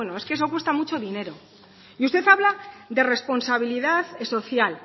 es que eso cuesta mucho dinero y usted habla de responsabilidad social